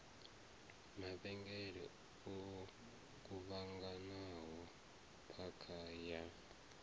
mavhengele o kuvhanganaho phakha ya